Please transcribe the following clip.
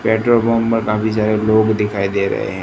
petrol pump पर काफी सारे लोग दिखाई दे रहे--